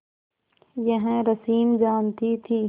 यह रश्मि जानती थी